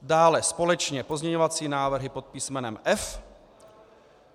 Dále společně pozměňovací návrhy pod písmenem F.